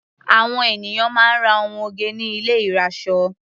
Àwọn ènìyàn máa ń ra ohun oge ní ilé ìrasọ.